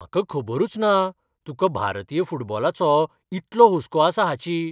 म्हाका खबरूच ना, तुकां भारतीय फुटबॉलाचो इतलो हुस्को आसा हाची .